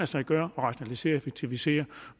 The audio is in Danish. sig gøre at rationalisere og effektivisere